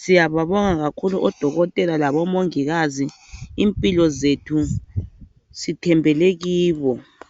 Siyababonga kakhulu odokotela labomongikazi, impilo zethu sithembele kibo.